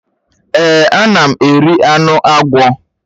Èè, ana m eri anụ agwọ.